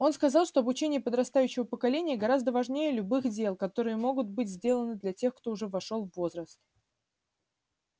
он сказал что обучение подрастающего поколения гораздо важнее любых дел которые могут быть сделаны для тех кто уже вошёл в возраст